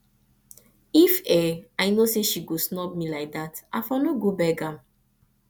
if i know say she go snub me like that i for no go beg am